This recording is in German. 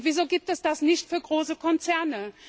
Wieso gibt es das nicht für große Konzerne?